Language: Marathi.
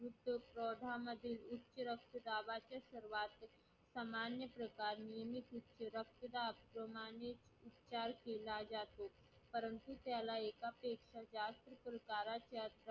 उच्च दाबाची सुरुवात सामान्य रक्तदाब उच्चार केला जातो सर्वोत्कृष्ट कार्य करणारी योजना होती ती म्हणजे विकाराचे